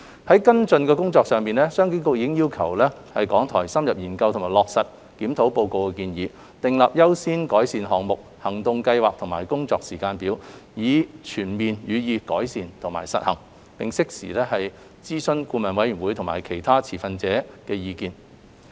在跟進的工作上，商經局已經要求港台深入研究及落實《檢討報告》的建議，訂立優先改善項目、行動計劃和工作時間表，以全面予以改善及實行，並適時諮詢顧委會及其他持份者的意見。